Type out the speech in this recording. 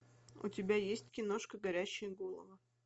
у тебя есть киношка горящие головы